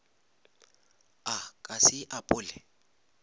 a ka se e apole